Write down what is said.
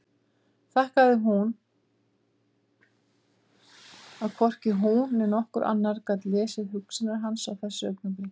Þakkaði fyrir að hvorki hún né nokkur annar gat lesið hugsanir hans á þessu augnabliki.